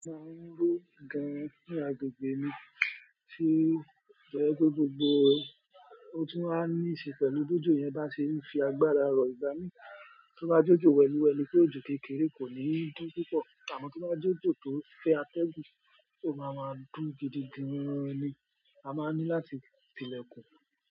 Gan-an ni agbègbè mí ti o jẹ pe gbogbo bo, ó tún á ní í ṣe pẹ̀lú bi ojo yẹn bá ṣe ń fi agbára rọ̀ ìgbà ní. Tí o bá jẹ ojo wẹ́liwẹ́li pé ojo kékeré kò ní dún púpọ̀, àmọ́ tí o bá jẹ ojo tón fẹ atẹ́gùn, ó máa ma dún gidigan ni. A máa ní láti ti ilẹ̀kùn.